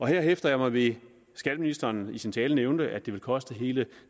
her hæfter jeg mig ved at skatteministeren i sin tale nævnte at det ville koste hele